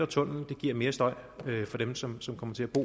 tunnel giver mere støj for dem som som kommer til at bo